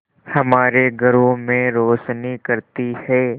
हमारे घरों में रोशनी करती है